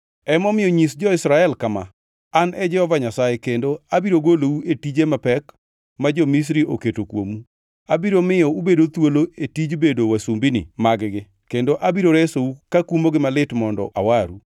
“Emomiyo nyis jo-Israel kama: ‘An e Jehova Nyasaye kendo abiro golou e tije mapek ma jo-Misri oketo kuomu. Abiro miyo ubed thuolo e tij bedo wasumbini mag-gi kendo abiro resou kakumogi malit mondo awaru.